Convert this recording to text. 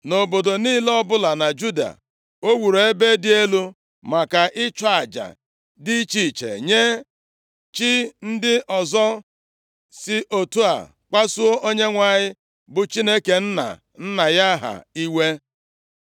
Nʼobodo niile ọbụla na Juda, o wuru ebe dị elu maka ịchụ aja dị iche iche nye chi ndị ọzọ, si otu a kpasuo Onyenwe anyị, bụ Chineke nna nna ya ha iwe.